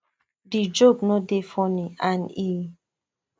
di joke no dey funny and e